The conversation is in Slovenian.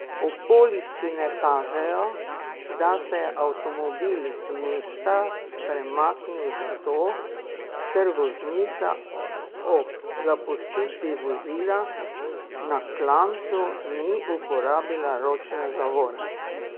Okoliščine kažejo, da se je avtomobil z mesta premaknil zato, ker voznica ob zapustitvi vozila na klancu ni uporabila ročne zavore.